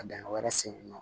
Ka dingɛ wɛrɛ sen nɔ